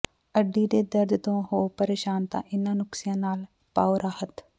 ਅੱਡੀ ਦੇ ਦਰਦ ਤੋਂ ਹੋ ਪਰੇਸ਼ਾਨ ਤਾਂ ਇੰਨ੍ਹਾਂ ਨੁਸਖ਼ਿਆਂ ਨਾਲ ਪਾਓ ਰਾਹਤ